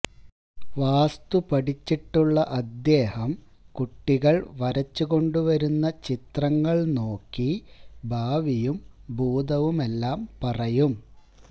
വാസ്തു പഠിച്ചിട്ടുള്ള അദ്ദേഹം കുട്ടികൾ വരച്ചുകൊണ്ടുവരുന്ന ചിത്രങ്ങൾ നോക്കി ഭാവിയും ഭൂതവുമെല്ലാം പറയും